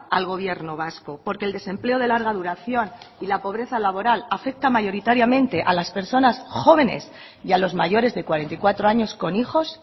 al gobierno vasco porque el desempleo de larga duración y la pobreza laboral afecta mayoritariamente a las personas jóvenes y a los mayores de cuarenta y cuatro años con hijos